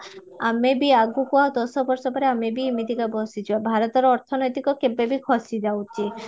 ଆମେ ବି ଆଗକୁ ଆଉ ଦଶ ବର୍ଷ ପରେ ଆମେ ବି ଏମିତିକ ବସିଯିବା ଭାରତର ଅର୍ଥନୈତିକ କେବେ ବି ଖସି ଯାଉଚି